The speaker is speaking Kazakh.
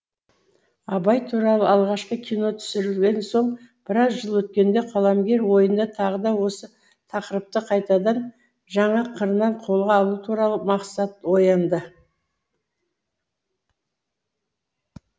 абай туралы алғашқы кино түсірілген соң біраз жыл өткенде қаламгер ойында тағы да осы тақырыпты қайтадан жаңа қырынан қолға алу туралы мақсат оянды